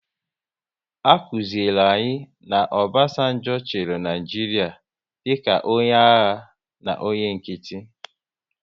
A kụziri anyị na Obasanjo chịrị Naịjiria dịka onye agha na onye nkịtị